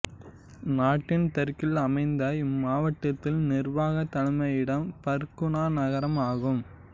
நாட்டின் தெற்கில் அமைந்த இம்மாவட்டத்தின் நிர்வாகத் தலைமையிடம் பர்குனா நகரம் ஆகும்